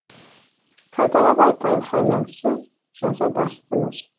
қайталап айтам ханым сіз жаза бастыңыз